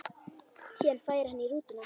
Síðan færi hann í rútuna.